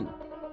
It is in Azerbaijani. Oynayın!